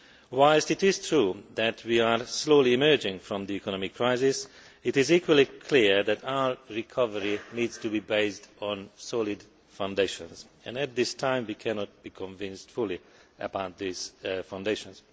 Whilst it is true that we are slowly emerging from the economic crisis, it is equally clear that our recovery needs to be based on solid foundations, and at this time, we cannot be entirely sure about these foundations.